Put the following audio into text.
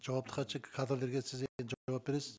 жауапты хатшы кадрлерге сіз жауап бересіз